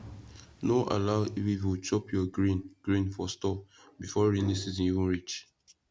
no allow weevil chop your grain grain for store before rainy season even reach